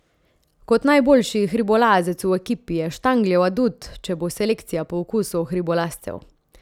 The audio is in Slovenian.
Kot najboljši hribolazec v ekipi je Štangljev adut, če bo selekcija po okusu hribolazcev.